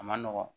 A man nɔgɔn